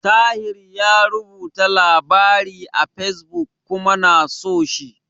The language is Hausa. Tahir yayi rubuta labari a Fesbuk kuma na so shi.